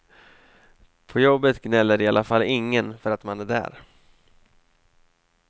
På jobbet gnäller i alla fall ingen för att man är där.